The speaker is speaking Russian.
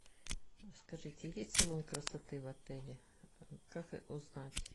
скажите есть салон красоты в отеле как узнать